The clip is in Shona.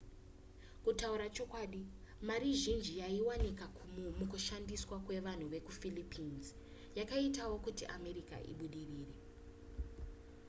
kutaura chokwadi mari zhinji yaiwanikwa mukushandiswa kwevanhu vekuphilippines yakaitawo kuti america ibudirire